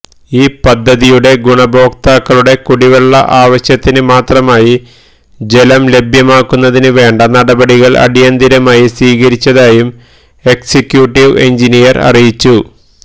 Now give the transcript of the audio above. ഈ പദ്ധതിയുടെ ഗുണഭോക്താക്കളുടെ കുടിവെള്ള ആവശ്യത്തിന് മാത്രമായി ജലം ലഭ്യമാകുന്നതിന് വേണ്ട നടപടികള് അടിയന്തിരമായി സ്വീകരിച്ചതായും എക്സിക്യൂട്ടീവ് എഞ്ചിനീയര് അറിയിച്ചു